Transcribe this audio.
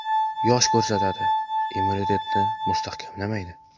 Yosh ko‘rsatadi, immunitetni mustahkamlaydi.